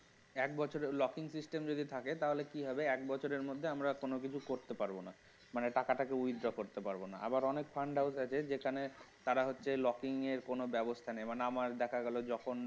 এক বছরের locking system যদি থাকে তাহলে কি হবে এক বছরের মধ্যে আমরা কোন কিছু করতে পারবোনা মানে টাকাটাকে withdraw করতে পারব না আবার অনেক fund house আছে যেখানে তারা হচ্ছে locking এর কোন ব্যবস্থা নেই যেমন আমার দেখা গেল যখন